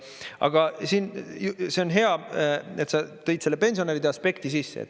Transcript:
Aga see on hea, et sa tõid selle pensionäride aspekti sisse.